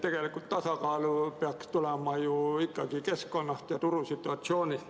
Tegelikult peaks tasakaal tulema ju ikkagi keskkonnast ja turusituatsioonist.